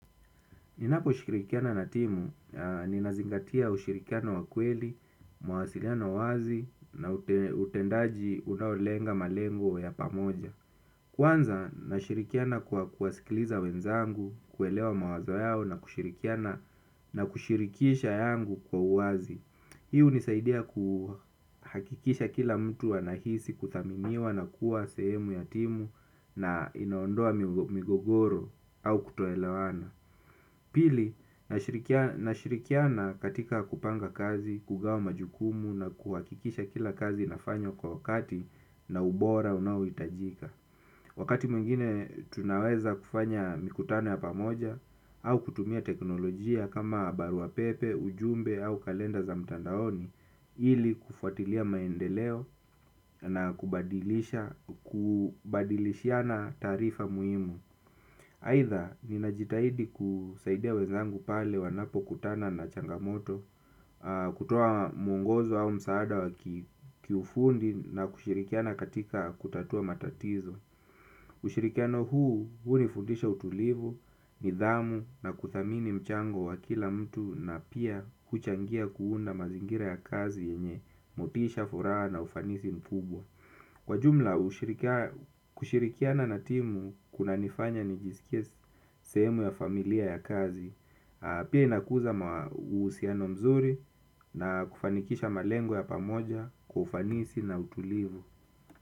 Ninapo shirikiana na timu, ninazingatia ushirikiano wa kweli, mawasiliano wazi na utendaji unaolenga malengo ya pamoja. Kwanza, nashirikiana kwa kuwasikiliza wenzangu, kuelewa mawazo yao na kushirikisha yangu kwa wazi. Hii hunisaidia kuhakikisha kila mtu anahisi kuthaminiwa na kuwa sehemu ya timu na inaondoa migogoro au kutoelewana. Pili, nashirikiana katika kupanga kazi, kugawa majukumu na kuhakikisha kila kazi inafanywa kwa wakati na ubora unaohitajika. Wakati mwingine tunaweza kufanya mikutano ya pamoja au kutumia teknolojia kama barua pepe, ujumbe au kalenda za mtandaoni ili kufuatilia maendeleo na kubadilishiana taarifa muhimu. Aidha, ninajitahidi kusaidia wenzangu pale wanapokutana na changamoto, kutoa mwongozo au msaada wa kiufundi na kushirikiana katika kutatua matatizo. Ushirikiano huu, huu nifundisha utulivu, nidhamu na kuthamini mchango wa kila mtu na pia kuchangia kuunda mazingira ya kazi yenye motisha furaha na ufanisi mkubwa. Kwa jumla kushirikiana na timu kuna nifanya nijisikie sehemu ya familia ya kazi, pia inakuza uhusiano mzuri na kufanikisha malengo ya pamoja kufanisi na utulivu.